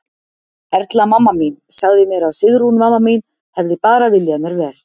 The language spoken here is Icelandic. Erla, mamma mín, sagði mér að Sigrún, mamma mín, hefði bara viljað mér vel.